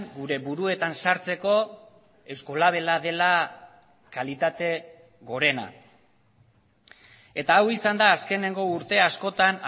gure buruetan sartzeko eusko labela dela kalitate gorena eta hau izan da azkeneko urte askotan